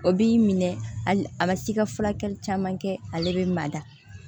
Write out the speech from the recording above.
O b'i minɛ a ma se i ka furakɛli caman kɛ ale bɛ mada